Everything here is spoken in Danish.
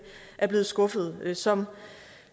er blevet skuffet som